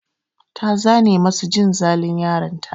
Ta zane masu jin zalun yaron ta.